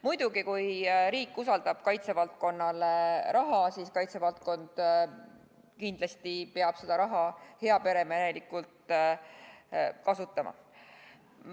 Muidugi kui riik usaldab kaitsevaldkonnale raha, siis kaitsevaldkond peab kindlasti seda heaperemehelikult kasutama.